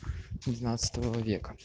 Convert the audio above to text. двенадцатого века